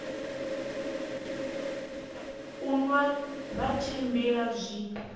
u nwa vha tshimbila zwi